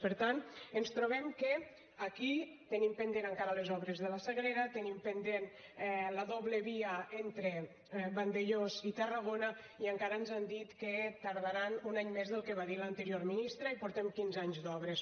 per tant ens trobem que aquí tenim pendents encara les obres de la sagrera tenim pendent la doble via entre vandellòs i tarragona i encara ens han dit que tardaran un any més del que va dir l’anterior ministre i portem quinze anys d’obres